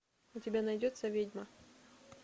у тебя найдется ведьма